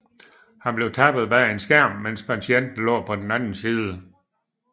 Han blev tappet bag en skærm medens patienten lå på den anden side